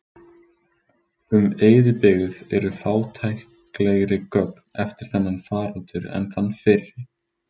Um eyðibyggð eru fátæklegri gögn eftir þennan faraldur en þann fyrri.